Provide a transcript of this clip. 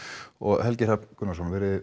og Helgi Hrafn Gunnarsson